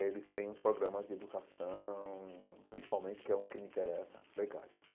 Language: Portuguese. Eles têm uns programas de educação, principalmente, que é o que me interessa, legais.